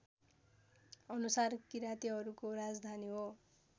अनुसार किराँतीहरूको राजधानी हो